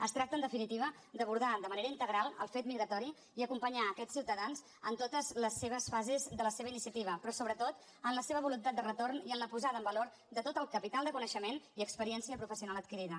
es tracta en definitiva d’abordar de manera integral el fet migratori i acompanyar aquests ciutadans en totes les seves fases de la seva iniciativa però sobretot en la seva voluntat de retorn i en la posada en valor de tot el capital de coneixement i experiència professional adquirida